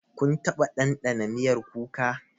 Kun taɓa dandana miyar kuka?